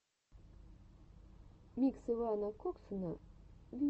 микс ивана коксуна в ютубе